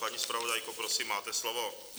Paní zpravodajko, prosím, máte slovo.